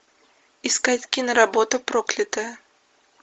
искать киноработу проклятая